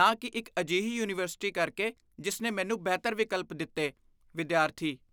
ਨਾ ਕੀ ਇੱਕ ਅਜਿਹੀ ਯੂਨੀਵਰਸਿਟੀ ਕਰਕੇ ਜਿਸ ਨੇ ਮੈਨੂੰ ਬਿਹਤਰ ਵਿਕਲਪ ਦਿੱਤੇ ਵਿਦਿਆਰਥੀ